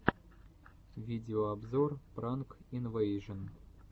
видеообзор пранк инвэйжэн